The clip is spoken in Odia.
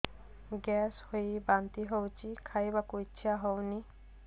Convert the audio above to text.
ଗ୍ୟାସ ହୋଇ ବାନ୍ତି ହଉଛି ଖାଇବାକୁ ଇଚ୍ଛା ହଉନି